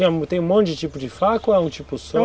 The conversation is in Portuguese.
E tem um monte de tipo de faca ou é um tipo só?